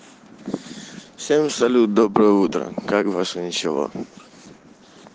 всем салют доброе утро как ваше ничего